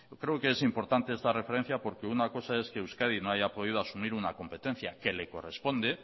creo que es importante esta referencia porque una cosa es que euskadi no haya podido asumir una competencia que le corresponde